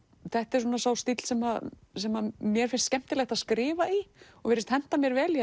þetta er sá stíll sem sem mér finnst skemmtilegt að skrifa í og virðist henta mér vel ég